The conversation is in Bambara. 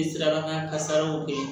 kasaraw kɛɲɛ